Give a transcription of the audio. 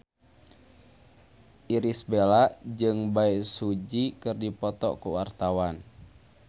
Irish Bella jeung Bae Su Ji keur dipoto ku wartawan